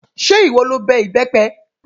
Ṣé ìwọ lo bẹ ìbẹ́pẹ?